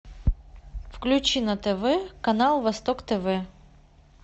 включи на тв канал восток тв